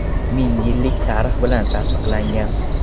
Ming yillik tarix bilan tasdiqlangan.